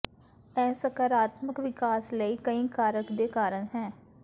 ਇਹ ਸਕਾਰਾਤਮਕ ਵਿਕਾਸ ਲਈ ਕਈ ਕਾਰਕ ਦੇ ਕਾਰਨ ਹੈ